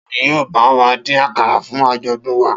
Ta ni yóò bá wa dín àkàrà fún àjọ̀dún wa?